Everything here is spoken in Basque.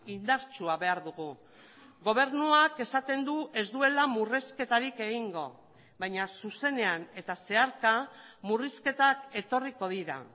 indartsua behar dugu gobernuak esaten du ez duela murrizketarik egingo baina zuzenean eta zeharka murrizketak etorriko dira